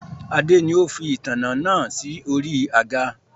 Adé ni ó fi ìtanná naa si ori àga